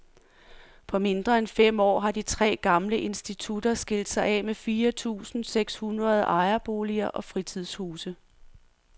På mindre end fem år har de tre gamle institutter skilt sig af med fire tusinde seks hundrede ejerboliger og fritidshuse.